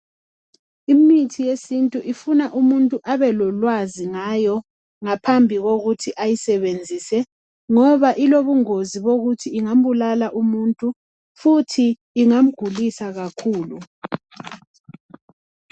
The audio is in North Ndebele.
Imithi yesintu ifuna umuntu abelolwazi ngayo ngaphambi kokuthi ayisebenzise ngoba ilobungozi bokuthi ingambulala umuntu futhi ingamgulisa kakhulu.